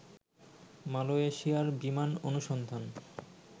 মালয়েশিয়ার বিমান অনুসন্ধান